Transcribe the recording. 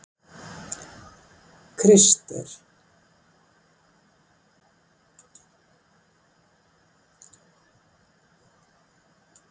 Krister